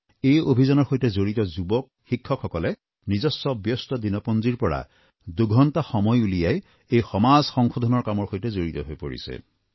এই অভিযানৰ সৈতে জড়িত যুৱকযুৱতীসকলক শিক্ষকসকলে নিজস্ব ব্যস্ত দিনপঞ্জীৰ পৰা দুঘণ্টা সময় উলিয়াই এই সমাজ সংশোধনৰ কামৰ সৈতে জড়িত হৈ পৰিছে